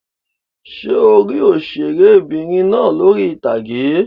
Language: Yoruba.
Ṣé o rí òṣèré'bìnrin náà lórí ìtàgé?